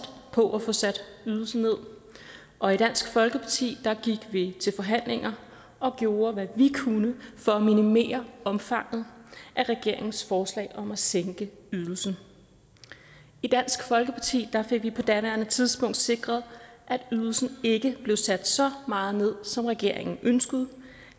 på at få sat ydelsen ned og i dansk folkeparti gik vi til forhandlinger og gjorde hvad vi kunne for at minimere omfanget af regeringens forslag om at sænke ydelsen i dansk folkeparti fik vi på daværende tidspunkt sikret at ydelsen ikke blev sat så meget ned som regeringen ønskede